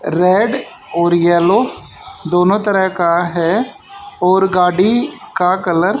red और yellow दोनों तरह का है और गाड़ी का कलर --